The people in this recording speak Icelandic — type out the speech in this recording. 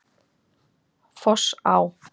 Fossá